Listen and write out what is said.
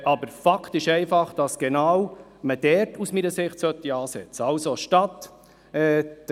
Aber Fakt ist einfach, dass man genau dort ansetzen sollte.